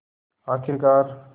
आख़िरकार